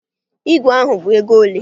Ígwè ahụ bụ ego ole?